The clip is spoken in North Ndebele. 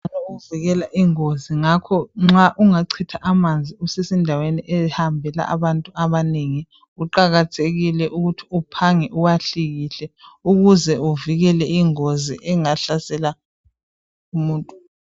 Ukuvikela ingozi nxa ungachitha amanzi endaweni ehambe abantu abanengi kuqakathekile ukuthi uphange uwahlikihle ukuze uvikele ingozi engahlasela umuntu